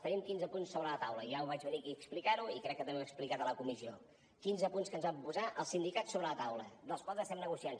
tenim quinze punts sobre la taula ja ho vaig venir aquí a explicar i crec que també ho he explicat a la comissió quinze punts que ens van posar els sindicats sobre la taula els quals els estem negociant